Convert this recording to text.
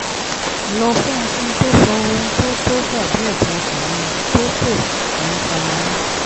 lọ fún un kí n tó sọ ohun tó tó dà bí ẹ̀dùn ọkàn mi tó kò ní fara mọ́